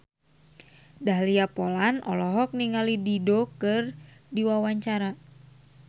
Dahlia Poland olohok ningali Dido keur diwawancara